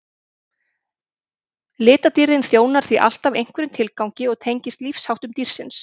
litadýrðin þjónar því alltaf einhverjum tilgangi og tengist lífsháttum dýrsins